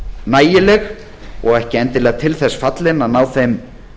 nægileg og ekki endilega til þess fallin að ná þeim